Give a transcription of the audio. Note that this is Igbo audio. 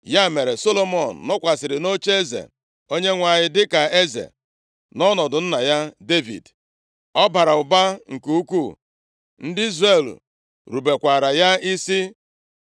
Ya mere, Solomọn nọkwasịrị nʼocheeze Onyenwe anyị dịka eze, nʼọnọdụ nna ya Devid. Ọ bara ụba nke ukwuu. Ndị Izrel rubekwaara ya isi.